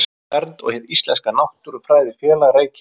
Landvernd og Hið íslenska náttúrufræðifélag, Reykjavík.